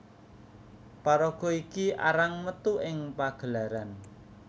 Paraga iki arang metu ing pagelaran